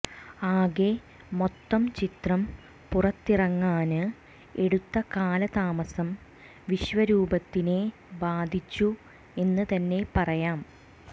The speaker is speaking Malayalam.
ആകെ മൊത്തം ചിത്രം പുറത്തിറങ്ങാന് എടുത്ത കാലതാമസം വിശ്വരൂപത്തിനെ ബാധിച്ചു എന്ന് തന്നെ പറയാം